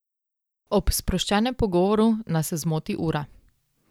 Ob sproščenem pogovoru nas zmoti ura.